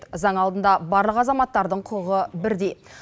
заң алдында барлық азаматтың құқығы бірдей